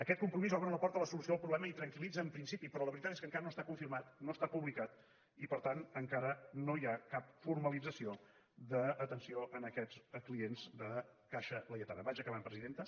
aquest compromís obre la porta a la solució del problema i tranquil·litza en principi però la veritat és que enca ra no està confirmat no està publicat i per tant en cara no hi ha cap formalització d’atenció a aquests clients de caixa laietana vaig acabant presidenta